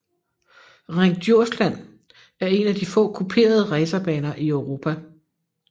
Ring Djursland er en af de få kuperede racerbaner i Europa